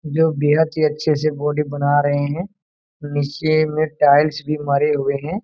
जो बेहद ही अच्छे से बॉडी बना रहे है नीचे में टाइल्स भी मारे हुए है।